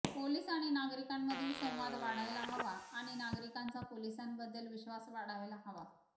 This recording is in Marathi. पोलिस आणि नागरिकांमधील संवाद वाढायला हवा आणि नागरिकांचा पोलिसांबद्दल विश्वास वाढायला हवा